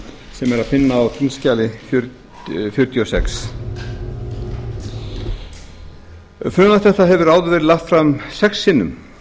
sem er að finna á þingskjali fjörutíu og sex frumvarp þetta hefur áður verið lagt fram sex sinnum